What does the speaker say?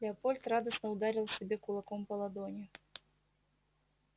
леопольд радостно ударил себе кулаком по ладони